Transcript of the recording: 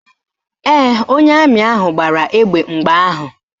Ee, onye amị ahụ gbara egbe mgbe ahụ